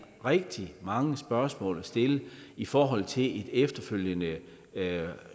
rigtig mange spørgsmål at stille i forhold til et efterfølgende